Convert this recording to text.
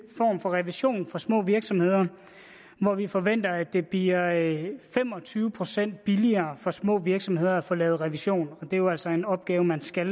form for revision for små virksomheder hvor vi forventer at det bliver fem og tyve procent billigere for små virksomheder at få lavet revision og det er jo altså en opgave man skal